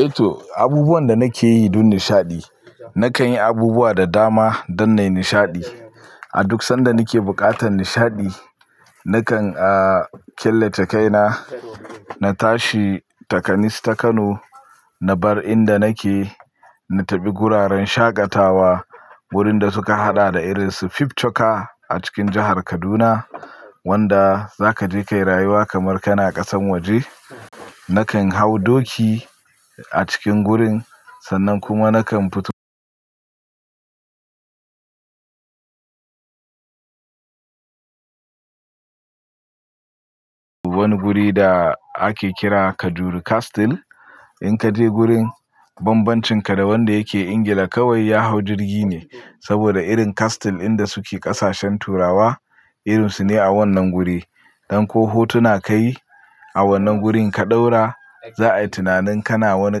Eh to, abubuwan da nake yi don nishaɗi, nakan yi abubuwa da dama don nai nishaɗi. A duk sanda nake buƙatar nishaɗi, nakan, ah, killace kaina, na tashi, ta kanis ta Kano, na bar inda nake, na tafi wuraren shaƙatawa wurin da suka haɗa da irin su Fifth Choca a cikin jahar Kaduna wanda za ka je ka yi rayuwa kamar kana ƙasan waje. Nakan hau doki a cikin gurin, sannan kuma nakan fito wani guri da ake kira Kajuru Castle. In ka je gurin, bambancinka da wanda yake Ingila kawai ya hau jirgi ne. Saboda irin castle inda su ke ƙasashen Turawa, irin su ne a wannan guri. Dan ko hotuna ka yi a wannan gurin ka ɗaura, za a yi tunanin kana wani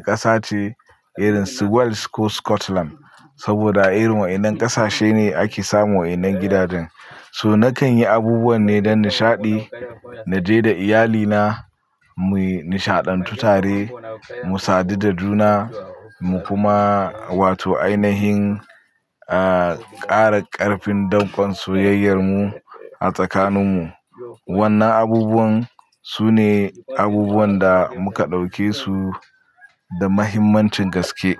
ƙasa ce irin su Wales ko Scotland. Saboda irin wa'inan ƙasashe ne ake samun wa'inan gidajen. So nakan yi abubuwan ne don nishaɗi, na je da iyalina mu yi nishaɗantu tare, mu sadu da juna mu kuma wato ainihin, ah, ƙara ƙarfin dankon soyayyar mu a tsakanin mu. Wannan abubuwan su ne abubuwan da muka ɗauke su da mahimmancin gaske.